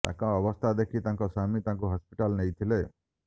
ତାଙ୍କ ଅବସ୍ଥା ଦେଖି ତାଙ୍କ ସ୍ୱାମୀ ତାଙ୍କୁ ହସ୍ପିଟାଲ ନେଇଥିଲେ